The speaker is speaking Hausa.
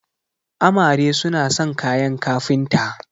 amare suna son kayan kafinta